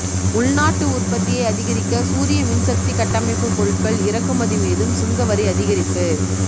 உள்நாட்டு உற்பத்தியை அதிகரிக்க சூரிய மின்சக்தி கட்டமைப்பு பொருட்கள் இறக்குமதி மீதும் சுங்கவரி அதிகரிப்பு